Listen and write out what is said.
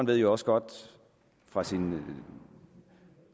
ved jo også godt fra sin